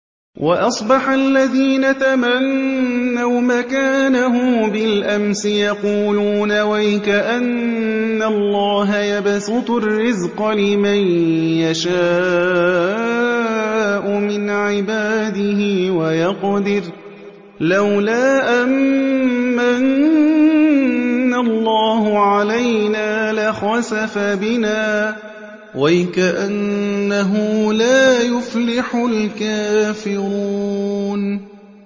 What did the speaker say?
وَأَصْبَحَ الَّذِينَ تَمَنَّوْا مَكَانَهُ بِالْأَمْسِ يَقُولُونَ وَيْكَأَنَّ اللَّهَ يَبْسُطُ الرِّزْقَ لِمَن يَشَاءُ مِنْ عِبَادِهِ وَيَقْدِرُ ۖ لَوْلَا أَن مَّنَّ اللَّهُ عَلَيْنَا لَخَسَفَ بِنَا ۖ وَيْكَأَنَّهُ لَا يُفْلِحُ الْكَافِرُونَ